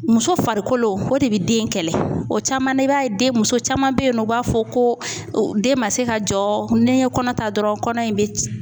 Muso farikolo o de bɛ den in kɛlɛ o caman na i b'a ye den muso caman be yen nɔ u b'a fɔ ko den ma se ka jɔ ni ye kɔnɔ ta dɔrɔn kɔnɔ in bɛ